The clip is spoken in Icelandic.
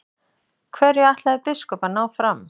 Hverju ætlaði biskup að ná fram?